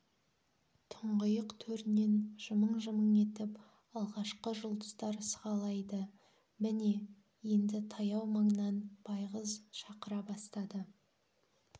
тұңғиық төрінен жымың-жымың етіп алғашқы жұлдыздар сығалайды міне енді таяу маңнан байғыз шақыра бастады